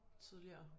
Tidligere